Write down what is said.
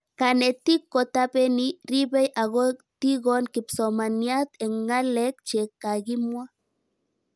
Kanetik ko tapeni, ripei ako tikon kipsomaniat eng' ng'alek che kakimwa